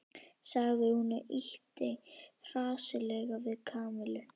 sagði hún og ýtti hressilega við Kamillu.